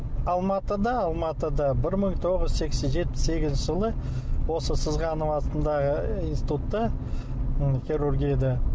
алматыда алматыда бір мың тоғыз жүз жетпіс сегізінші жылы осы сызғанов атындағы институтта ы хирургияда